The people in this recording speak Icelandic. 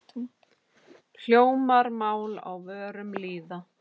Hljómar mál á vörum lýða.